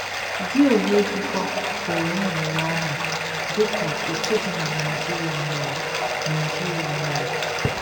Gị onwe gị kwa pụrụ ịṅụrị ọṅụ dị ka otu di na Nigeria mere Nigeria mere.